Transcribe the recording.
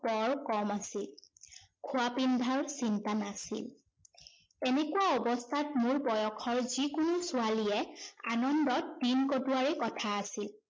বৰ কম আছিল। খোৱা-পিন্ধাৰ চিন্তা নাছিল। এনেকুৱা অৱস্থাত মোৰ বয়সৰ যি কোনো ছোৱালীয়ে আনন্দত দিন কটোৱাৰে কথা আছিল।